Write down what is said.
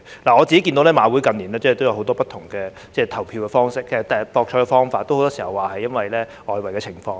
我看到馬會近年也有很多不同的博彩方式，很多時候也是由於外圍賭波的情況。